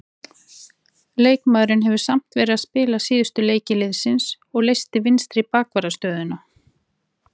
Leikmaðurinn hefur samt verið að spila síðustu leiki liðsins og leyst vinstri bakvarðarstöðuna.